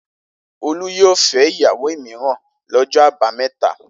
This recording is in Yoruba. Olú yóò fẹ́ ìyàwó mìíràn lọ́jọ́ àbámẹ́ta.